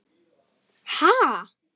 Ha?